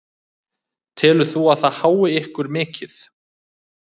Telur þú að það hái ykkur mikið?